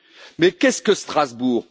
Mais qu'est ce que Strasbourg?